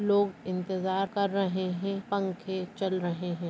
लोग इन्तेजार कर रहे है पंखे चल रहे है।